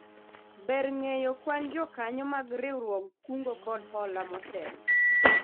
Ber ng'eyo kwan jokanyo mag riwruog kungo koda hola motelo